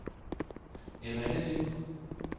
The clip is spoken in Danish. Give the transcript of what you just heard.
Errindlev